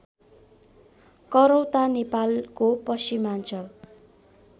करौता नेपालको पश्चिमाञ्चल